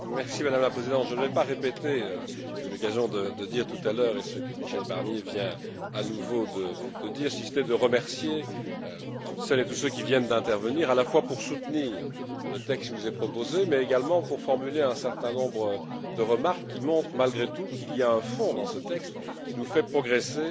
Madame la Présidente, je ne vais pas répéter j'ai eu l'occasion de le dire tout à l'heure ce que Michel Barnier vient à nouveau de dire, si ce n'est pour remercier toutes celles et tous ceux qui viennent d'intervenir, à la fois pour soutenir le texte qui vous est proposé, mais également pour formuler un certain nombre de remarques qui montrent, malgré tout, qu'il y a un fond dans ce texte qui nous fait progresser